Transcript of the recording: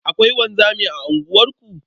Akwai wanzami a unguwarku?